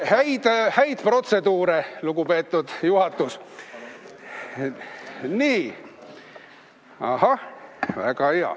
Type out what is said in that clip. Häid protseduure, lugupeetud juhatus!